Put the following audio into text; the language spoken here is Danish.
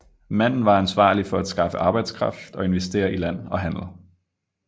Manden var ansvarlig for at skaffe arbejdskraft og investere i land og handel